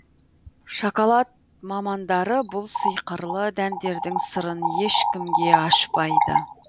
шоколад мамандары бұл сиқырлы дәндердің сырын ешкімге ашпайды